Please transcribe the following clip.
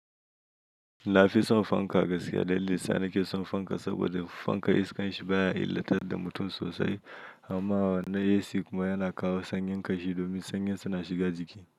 Na fi son fanka gaskiya dalili sa nake son fanka saboda fanka iskan shi baya illatar da mutum sosai. Amma na AC kuma yana kawo sanyin kashi domin sanyin suna shiga jiki.